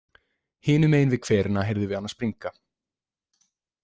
Hinum megin við hverina heyrðum við hana springa.